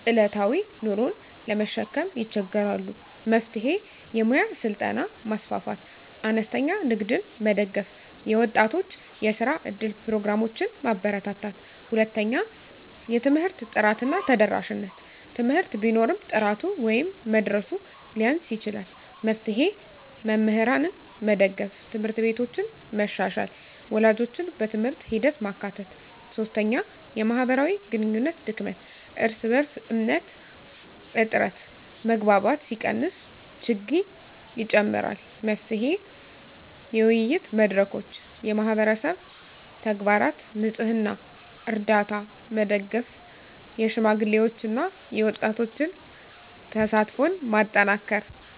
ዕለታዊ ኑሮን ለመሸከም ይቸገራሉ። መፍትሄ: የሙያ ስልጠና ማስፋፋት፣ አነስተኛ ንግድን መደገፍ፣ የወጣቶች የስራ እድል ፕሮግራሞችን ማበርታት። 2) የትምህርት ጥራት እና ተደራሽነት: ትምህርት ቢኖርም ጥራቱ ወይም መድረሱ ሊያንስ ይችላል። መፍትሄ: መምህራንን መደገፍ፣ ት/ቤቶችን መሻሻል፣ ወላጆችን በትምህርት ሂደት ማካተት። 3) የማህበራዊ ግንኙነት ድክመት (እርስ በእርስ እምነት እጥረት): መግባባት ሲቀንስ ችግኝ ይጨምራል። መፍትሄ: የውይይት መድረኮች፣ የማህበረሰብ ተግባራት (ንፅህና፣ ርዳታ) መደገፍ፣ የሽማግሌዎችና የወጣቶች ተሳትፎን ማጠናከር።